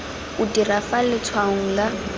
o dira fa letshwaong la